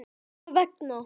Orðanna vegna.